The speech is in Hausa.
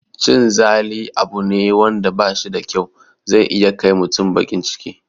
Cin zali abu ne wanda bashi da kyau, zai iya kai mutum baƙin ciki